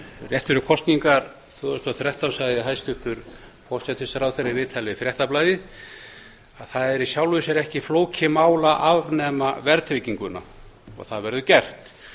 rétt fyrir kosningar tvö þúsund og þrettán sagði hæstvirtur forsætisráðherra í viðtali við fréttablaðið að það væri í sjálfu sér ekki flókið mál að afnema verðtrygginguna og það yrði gert